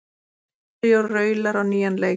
Ríó tríóið raular á nýjan leik